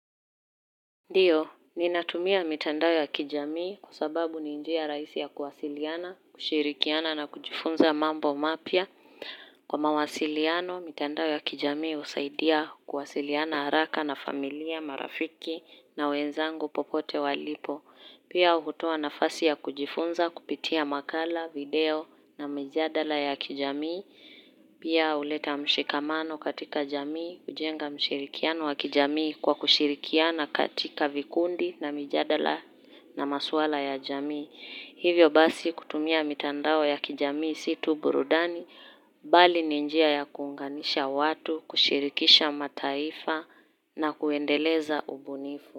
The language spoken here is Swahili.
Ndiyo, ninatumia mitandao ya kijamii kwa sababu ni njia rahisi ya kuwasiliana, kushirikiana na kujifunza mambo mapya. Kwa mawasiliano, mitandao ya kijamii husaidia kuwasiliana haraka na familia, marafiki na wenzangu popote walipo. Pia hutoa nafasi ya kujifunza kupitia makala, video na mijadala ya kijamii. Pia huleta mshikamano katika jamii, kujenga mshirikiano wa kijamii kwa kushirikiana katika vikundi na mijadala na maswala ya jamii. Hivyo basi kutumia mitandao ya kijamii si tu burudani, bali ni njia ya kuunganisha watu, kushirikisha mataifa na kuendeleza ubunifu.